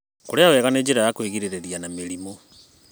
Kũrĩa wega nĩ njĩra ya kwĩgirĩrĩria na mĩrimũ.